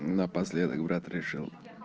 напоследок брат решил